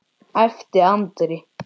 æpti Andri.